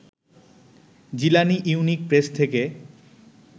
Jilani unique press থেকে